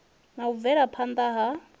na u bvela phana ha